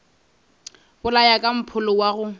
bolaya ka mpholo wa go